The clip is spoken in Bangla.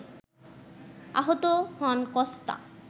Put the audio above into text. আহত হন কস্তা